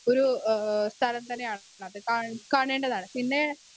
Speaker 1 ഒരു ആ സ്ഥലം തന്നെയാണത് കാ കാണേണ്ടതാണ്. പിന്നെ